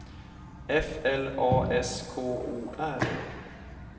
F L A S K O R